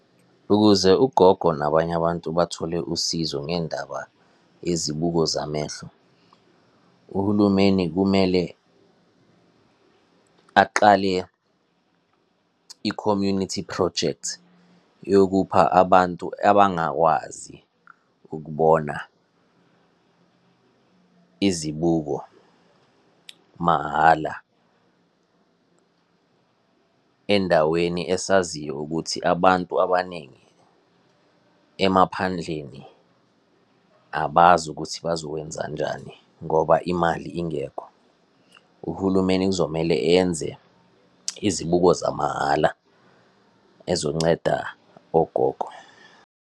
Ukuze ugogo nabanye abantu bathole usizo ngendaba yezibuko zamehlo, uhulumeni kumele aqale i-community project yokupha abantu abangakwazi ukubona, izibuko mahhala, endaweni esaziyo ukuthi abantu abaningi emaphandleni abazi ukuthi bazokwenzanjani ngoba imali ingekho. Uhulumeni kuzomele enze izibuko zamahhala ezonceda ogogo.